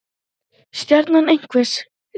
Stjarna einhvers rís